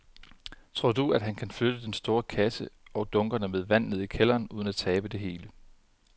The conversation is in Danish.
Tror du, at han kan flytte den store kasse og dunkene med vand ned i kælderen uden at tabe det hele?